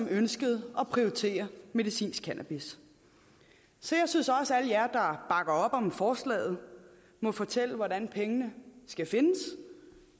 ønskede at prioritere medicinsk cannabis så jeg synes også at der bakker op om forslaget må fortælle hvordan pengene skal findes